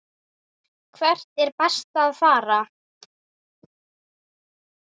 Hvert er best að fara?